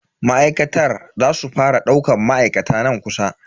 Makarantar za su fara daukan ma'aikata nan kusa.